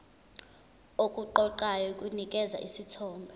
okuqoqayo kunikeza isithombe